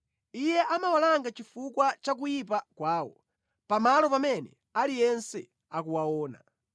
Iye amawalanga chifukwa cha kuyipa kwawo, pamalo pamene aliyense akuwaona;